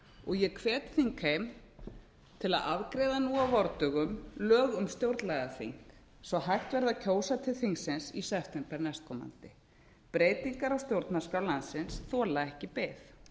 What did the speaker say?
og ég hvet þingheim til að afgreiða nú á vordögum lög um stjórnlagaþing svo hægt verði að kjósa til þingsins í september næstkomandi breytingar á stjórnarskrá landsins þola ekki bið